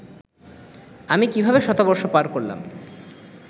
আমি কীভাবে শতবর্ষ পার করলাম